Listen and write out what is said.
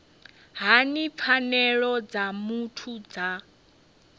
hani pfanelo dza muthu dza